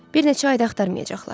Bir neçə ay da axtarmayacaqlar.